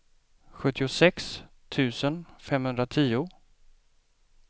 sjuttiosex tusen femhundratio